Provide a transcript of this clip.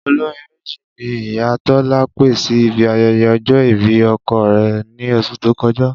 Olórin méjì ni ìyá Tó̩lá pè sí ibi aye̩ye̩ o̩jó̩ ìbí o̩ko̩ rè̩ ní os̩ù tó ko̩já